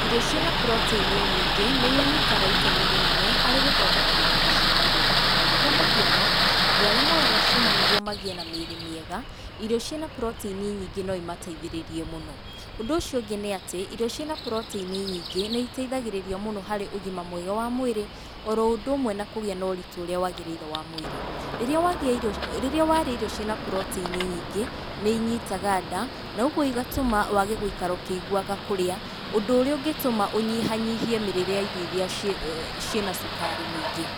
Irio cĩna protein nyingĩ nĩ inyiitaga itemi rĩnene harĩ gũthondeka nyama cia mwĩrĩ waku, kwa mũhano, andũ arĩa moyaga cuma nĩguo magĩe na mwĩrĩ mwega, irio cĩna protein nyingĩ no imateithĩrĩrie mũno, ũndũ ũcio ũngĩ nĩ atĩ, irio cina protein nyingĩ nĩ iteithagĩrĩria mũno harĩ ũgima mwega wa mwĩrĩ, oro ũndũ ũmwe na kũgĩa no ritũ ũrĩa wagĩrĩire wa mwĩrĩ, rĩrĩa wagĩa irio rĩrĩa warĩa irio cĩna protein nyingĩ nĩ inyitaga nda, noguo igatũma wage gũikara ũkĩigũwaga kũrĩa, ũndũ ũrĩa ũngĩtũma ũnyihanyihie mĩrĩre ya irio iria cĩ cĩna cukari mwĩingĩ,